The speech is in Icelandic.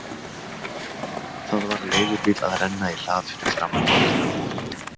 Það var leigubíll að renna í hlað fyrir framan blokkina á móti.